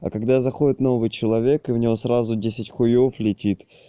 а когда заходит новый человек и в него сразу десять хуев летит